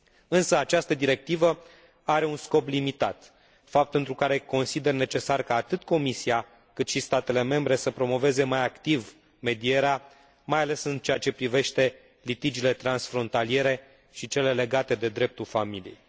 Însă această directivă are un scop limitat, fapt pentru care consider necesar ca atât Comisia, cât și statele membre să promoveze mai activ medierea, mai ales în ceea ce privește litigiile transfrontaliere și cele legate de dreptul familiei.